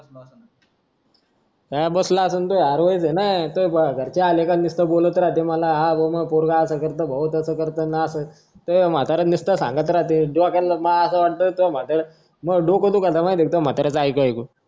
हां बसलं असन तं हरवायच ना त्वा घरचे आले का नुसतं बोलत राहते मला हा पोरगा असं करतो अन तसं करतो त्वा म्हतारं नुसतं सांगत राहत दोघांना मला असं वाटतं मां डोकं दुखून जातं त्वा म्हाताऱ्याचं ऐकून ऐकून